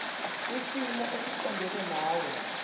kwisimo esiqondena nawe